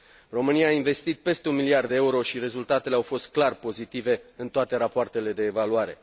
România a investit peste un miliard de euro și rezultatele au fost clar pozitive în toate rapoartele de evaluare.